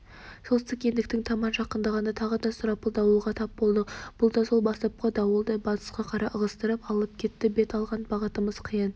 солтүстік ендіктің таман жақындағанда тағы да сұрапыл дауылға тап болдық бұл да сол бастапқы дауылдай батысқа қарай ығыстырып алып кетті бет алған бағытымыз қиян